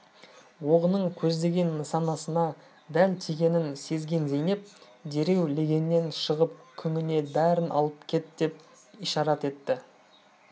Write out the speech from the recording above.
оғының көздеген нысанасына дәл тигенін сезген зейнеп дереу легеннен шығып күңіне бәрін алып кет деп ишарат етті